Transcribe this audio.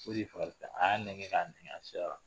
O de y'e fagali fɛn ye, a y'a nɛgɛn ka nɛgɛn a sera la.